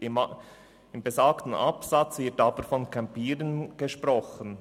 In besagtem Absatz wird aber vom «Campieren» gesprochen.